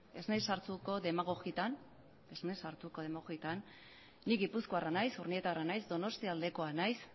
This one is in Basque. ez naiz sartuko demogogietan nik gipuzkoarra naiz urnietarra naiz donostialdekoa naiz